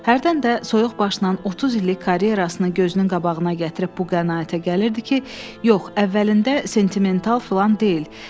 Hərdən də soyuq başla 30 illik karyerasını gözünün qabağına gətirib bu qənaətə gəlirdi ki, yox, əvvəlində sentimental filan deyil.